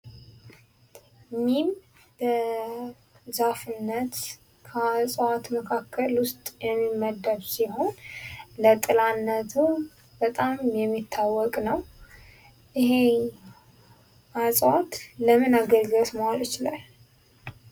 ሚም በዛፍነት ከዐጽዋት መካከል ውስጥ የሚመደብ ሲሆን ለጥላነቱ በጣም የሚታወቅ ነው። ይሄ ዐጽዋት ለምን አገልግሎት መዋል ይችላል?